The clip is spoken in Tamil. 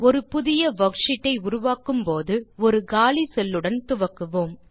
ஒரு புதிய வர்க்ஷீட் ஐ உருவாக்கும்போது ஒரு காலி செல் உடன் துவங்குவோம்